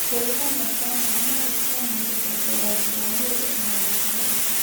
Kwĩyũngania kwa maĩ no gũtũme mũndũ kũongerera ũritũ wa mwĩrĩ o na gũkorora.